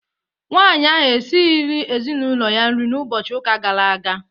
Nwaanyị ahụ esirighi ezinaụlọ ya nri n'ụbọchị ụka gara aga.